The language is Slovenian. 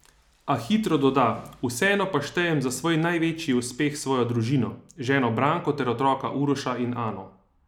A hitro doda: "Vseeno pa štejem za svoj največji uspeh svojo družino, ženo Branko ter otroka Uroša in Ano.